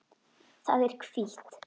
Það er hvítt.